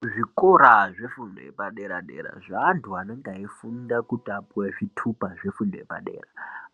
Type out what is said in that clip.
Kuzvikora zvefundo yepadera-dera, zveanthu anonga eifunda kuti apuwe chithupa chefundo yepadera,